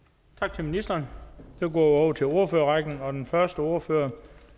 tak til ministeren så går til ordførerrækken og den første ordfører